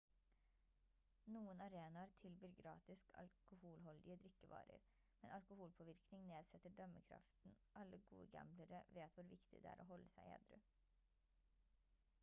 noen arenaer tilbyr gratis alkoholholdige drikkevarer men alkoholpåvirkning nedsetter dømmekraften alle gode gamblere vet hvor viktig det er å holde seg edru